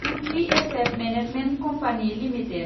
उथि asset management company limited